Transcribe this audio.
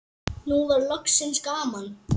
Nú var loksins gaman.